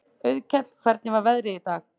Auðkell, hvernig er veðrið í dag?